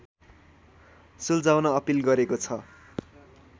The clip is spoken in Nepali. सुल्झाउन अपिल गरेको छ